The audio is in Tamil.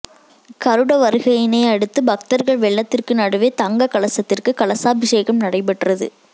கருட வருகையினை அடுத்து பக்தர்கள் வெள்ளத்திற்கு நடுவே தங்கக் கலசத்திற்கு கலசாபிஷேகம் நடைபெற்றது